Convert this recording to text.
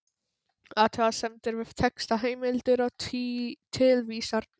Athugasemdir við texta, heimildir og tilvísanir